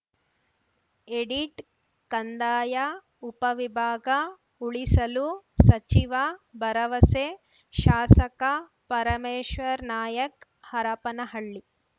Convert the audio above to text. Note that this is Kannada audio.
ಎಡಿಟ್‌ ಕಂದಾಯ ಉಪವಿಭಾಗ ಉಳಿಸಲು ಸಚಿವ ಭರವಸೆ ಶಾಸಕ ಪರಮೇಶ್ವರನಾಯಕ್ ಹರಪನಹಳ್ಳಿ